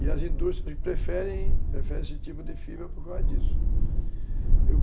E as indústrias preferem preferem esse tipo de fibra por causa disso, uhum.